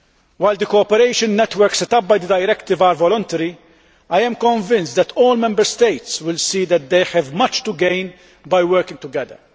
While the cooperation networks set up by the directive are voluntary, I am convinced that all Member States will see that they have much to gain by working together.